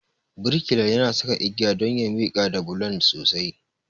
Birkilan yana saka igiya don ya miƙar da bulon sosai.